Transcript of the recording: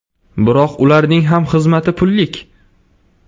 Biroq ularning ham xizmati pullik.